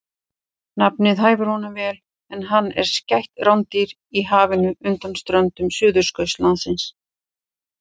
Nafnið hæfir honum vel en hann er skætt rándýr í hafinu undan ströndum Suðurskautslandsins.